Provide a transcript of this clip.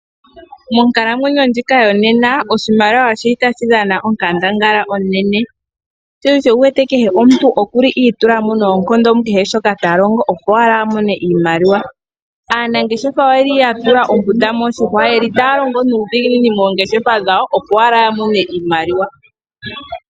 Monkalamwenyo ndjika yonena oshimaliwa otashi dhana onkandangala, sho osho wu wete kehe omuntu okwa itula mo mukehe shoka ta longo, opo i imonene iimaliwa. Aanangeshefa oya tula ombunda moshihwa taya longo nuudhiginini, opo ya mone iimaliwa.